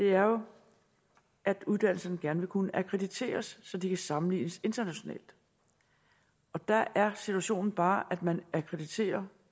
er jo at uddannelserne gerne vil kunne akkrediteres så de kan sammenlignes internationalt der er situationen bare at man akkrediterer